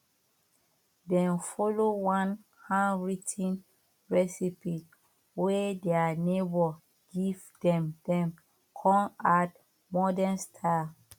dem follow one hand writ ten recipe wey their neighbour give them dem come add modern style